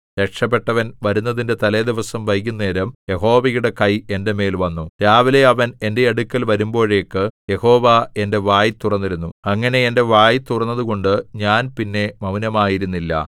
രക്ഷപെട്ടവൻ വരുന്നതിന്റെ തലേദിവസം വൈകുന്നേരം യഹോവയുടെ കൈ എന്റെ മേൽ വന്നു രാവിലെ അവൻ എന്റെ അടുക്കൽ വരുമ്പോഴേക്ക് യഹോവ എന്റെ വായ് തുറന്നിരുന്നു അങ്ങനെ എന്റെ വായ് തുറന്നതുകൊണ്ട് ഞാൻ പിന്നെ മൗനമായിരുന്നില്ല